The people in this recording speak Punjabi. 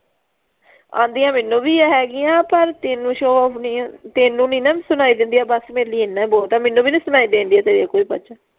ਆਉਂਦੀਆਂ ਮੈਨੂੰ ਵੀ ਹੈਗੀਆਂ ਪਰ ਤੈਨੂੰ ਸ਼ੋ ਆਫ ਨਹੀਂ ਤੈਨੂੰ ਨਹੀਂ ਨਾ ਸੁਣਾਈ ਦੇਂਦੀਆਂ ਬਸ ਮੇਰੇ ਲਈ ਏਨਾ ਹੀ ਬਹੁਤ ਆ ਮੈਨੂੰ ਵੀ ਨਹੀਂ ਸੁਣਾਈ ਦੇਣ ਦੀਆਂ ਤੇਰੀਆਂ ਕੋਈ ਅਵਾਜ਼ਾਂ।